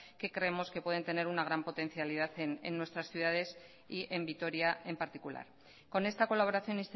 que creemos que pueden tener una gran potencialidad en nuestras ciudades y en vitoria en particular con esta colaboración